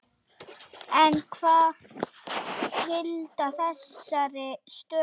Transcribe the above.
En hvað skilar þessari stöðu?